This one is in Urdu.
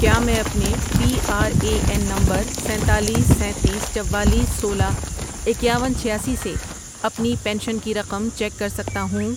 کیا میں اپنے پی آر اے این نمبر سینتالیس ، سینتیس ،چوالیس ،سولہ، اکیاون، چھیاسی سے اپنی پینشن کی رقم چیک کر سکتا ہوں؟